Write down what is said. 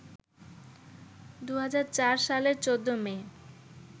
২০০৪ সালের ১৪ মে